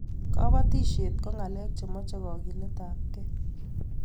kabatishiet ko ngalek chemache kagilet ab kee